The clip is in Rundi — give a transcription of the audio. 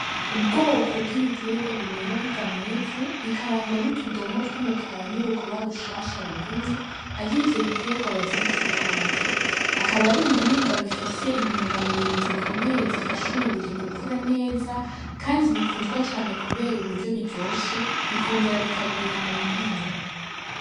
Ubwoko bw'ibitegwa bimera biva mw'ivu bikarangwa n'utudomo tw'umukara n'urukoba rushasha rugumye aho ivyo bitegwa bavyita ibiharage akaba ari ibiribwa bifise intunga mubiri zikomeye zifasha umubiri gukura neza kandi bikundwa cane kubera uburyo biryoshe bikongera bikagwira mu nkono.